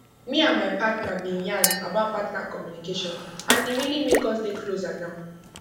me and my partner been yan about partner communication and e really make us dey closer now